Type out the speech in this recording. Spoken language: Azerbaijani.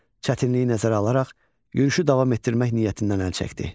Çətinliyi nəzərə alaraq yürüşü davam etdirmək niyyətindən əl çəkdi.